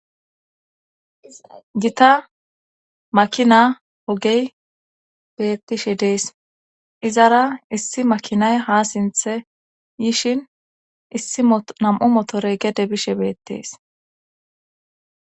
Gita makina ogey bettishe dees izara issi makinay ha sinthe yishin issi nam'u motorey gede bishe beettees.